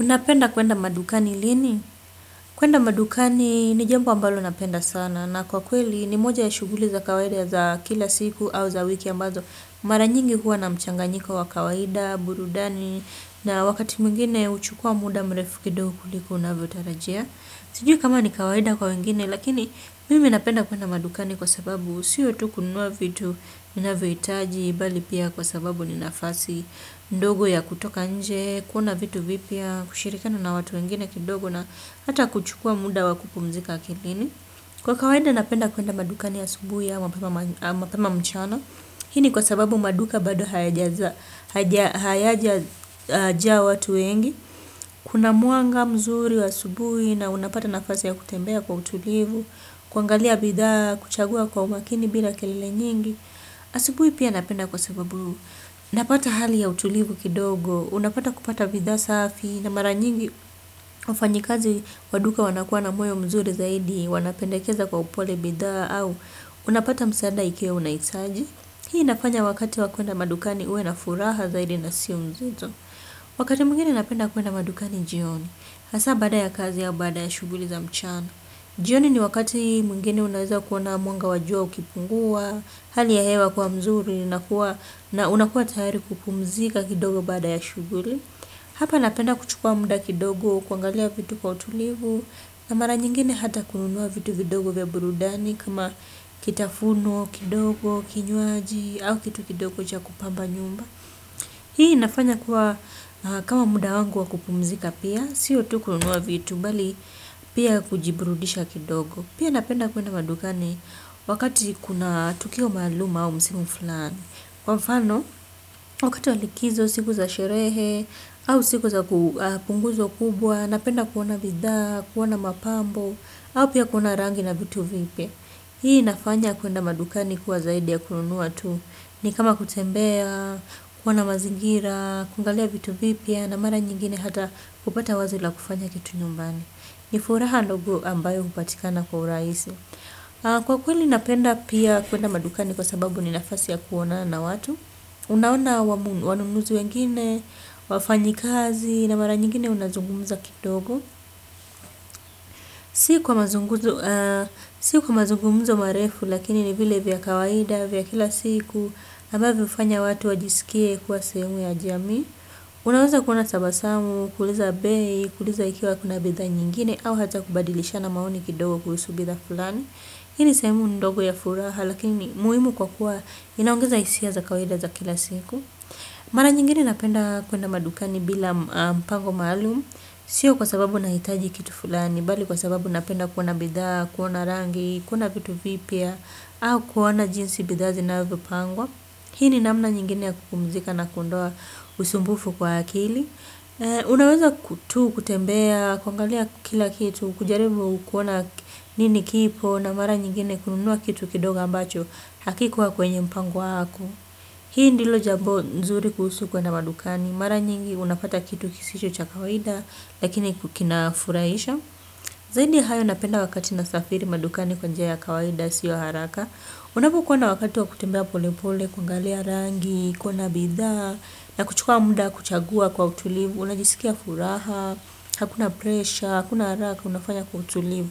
Unapenda kwenda madukani lini? Kwenda madukani ni jambo ambalo napenda sana. Na kwa kweli ni moja ya shuguli za kawaida za kila siku au za wiki ambazo. Mara nyingi huwa na mchanganyika wa kawaida, burudani. Na wakati mwingine uchukua muda mrefu kido kuliko unavyo tarajia. Sijui kama ni kawaida kwa wengine lakini mimi napenda kwenda madukani kwa sababu siyo tu kununua vitu inavyo itaji bali pia kwa sababu ni nafasi. Ndogo ya kutoka nje, kuona vitu vipya, kushirikana na watu wengine kidogo na hata kuchukua muda wakukumzika akilini. Kwa kawaida napenda kuenda maduka ni asubui ya mapema mchana. Hii ni kwa sababu maduka bado hayajajaa watu wengi. Kuna mwanga mzuri wa asubu ya unapata nafasi ya kutembea kwa utulivu. Kuangalia bidha, kuchagua kwa umakini bila kelile nyingi. Asibui pia napenda kwa sababu, napata hali ya utulivu kidogo, unapata kupata bidhaa safi na mara nyingi ufanyikazi waduka wanakuwa na moyo mzuri zaidi, wanapendekeza kwa upole bidhaa au unapata msaada ikiwa unaitaji. Hii nafanya wakati wakuenda madukani uwe na furaha zaidi na siu mzito. Wakati mwingine napenda kuenda madukani jioni. Hasa baada ya kazi au baada ya shuguli za mchana. Jioni ni wakati mwingine unaweza kuona mwanga wajua ukipungua, hali ya hewa kuwa mzuri na unakuwa tayari kupumzika kidogo baada ya shuguli. Hapa napenda kuchukua muda kidogo, kuangalia vitu kwa utulivu, na mara nyingine hata kununua vitu kidogo vya burudani kama kitafunwa, kidogo, kinywaji au kitu kidogo cha kupamba nyumba. Hii inafanya kuwa kama muda wangu wa kupumzika pia. Sio tu kununua vitu. Pia kujiburudisha kidogo. Pia napenda kuwenda madukani. Wakati kuna tukio maalum au msimu fulani kwa mfano wakati wa likizo siku za sherehe au siku za punguzo kubwa. Napenda kuona bidhaa kuona mapambo au pia kuona rangi na vitu vipya. Hii nafanya kuwenda madukani ni kuwa zaidi ya kununua tu. Ni kama kutembea, kuona mazingira, kuangalia vitu vipya, na mara nyingine hata kupata wazo la kufanya kitu nyumbani. Ni furaha ndogo ambayo upatikana kwa uraisi. Kwa kweli napenda pia kuwenda madukani kwa sababu ni nafasi ya kuonana na watu. Unaona wanunuzi wengine, wafanyikazi, na mara nyingine unazungumuza kidogo. Si kwa mazungumuza marefu, lakini ni vile vya kawaida, vya kila siku, ambavyo ufanya watu wajisikie kuwa sehemu ya jamii. Unaweza kuona tabasamu, kuuliza bei, kuuliza ikiwa kuna bidha nyingine au hata kubadilishana maoni kidogo kulusu bitha fulani. Ini sehemu ndogo ya furaha, lakini muimu kwa kuwa inaongeza isia za kawaida za kila siku. Mara nyingine napenda kuenda madukani bila mpango maalum. Sio kwa sababu na hitaji kitu fulani bali kwa sababu napenda kuona bidha, kuona rangi, kuona kitu vipya au kuona jinsi bidhaa zinavyopangwa. Hii ni namna nyingine ya kupumzika na kuondoa usumbufu kwa akili. Unaweza tu, kutembea, kuangalia kila kitu, kujaribu kuona nini kipo na mara nyingine kununua kitu kidogo ambacho hakikuwa kwenye mpango wako. Hii ndilo jambo nzuri kuhusu kwenda madukani. Mara nyingi unapata kitu kisicho cha kawaida lakini kina furaisha. Zaidi hayo napenda wakati nasafiri madukani kwa njia ya kawaida sio yaharaka. Unapokuwa na wakati wa kutembea pole pole, kuangalia rangi, kuona bidha, na kuchukua muda kuchagua kwa utulivu, unajisikia furaha, hakuna presha, hakuna haraka, unafanya kwa utulivu.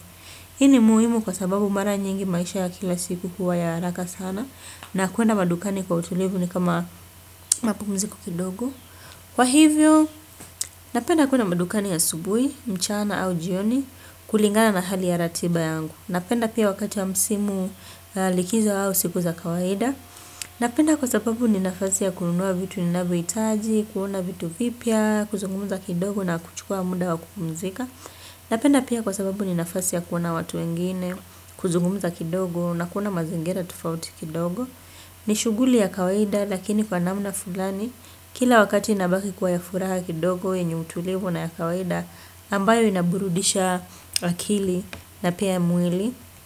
Ini muhimu kwa sababu mara nyingi maisha ya kila siku huwa ya haraka sana, na kuenda madukani kwa utulivu ni kama mapumziko kidogo. Kwa hivyo, napenda kuenda madukani asubui, mchana au jioni, kulingana na hali ya ratiba yangu. Napenda pia wakati wa msimu likizo au siku za kawaida. Napenda kwa sababu ni nafasi ya kununua vitu ni navyoitaji, kuona vitu vipya, kuzungumuza kidogo na kuchukua muda wa kupumzika. Napenda pia kwa sababu ni nafasi ya kuona watu wengine, kuzungumuza kidogo na kuona mazingira tufauti kidogo. Ni shuguli ya kawaida lakini kwa namna fulani, kila wakati inabaki kwa ya furaha kidogo yenye utulivu na ya kawaida ambayo inaburudisha akili na pia mwili. Kwa hivyo.